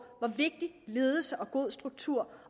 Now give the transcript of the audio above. hvor vigtig ledelse og god struktur